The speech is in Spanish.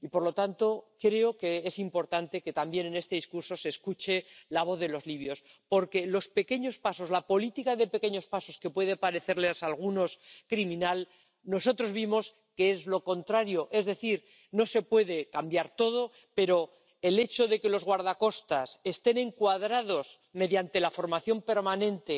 Y, por lo tanto, creo que es importante que también en este discurso se escuche la voz de los libios, porque nosotros vimos que los pequeños pasos, la política de pequeños pasos que puede parecerles a algunos criminal, es lo contrario es decir, no se puede cambiar todo, pero el hecho de que los guardacostas estén encuadrados mediante la formación permanente,